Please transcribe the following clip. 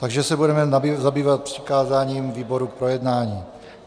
Takže se budeme zabývat přikázáním výborům k projednání.